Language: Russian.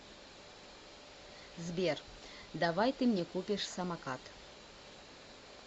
сбер давай ты мне купишь самокат